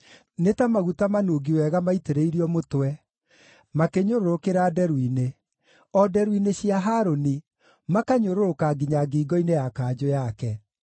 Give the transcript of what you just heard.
Nĩ ta maguta manungi wega maitĩrĩirio mũtwe, makĩnyũrũrũkĩra nderu-inĩ, o nderu-inĩ cia Harũni, makanyũrũrũka nginya ngingo-inĩ ya kanjũ yake.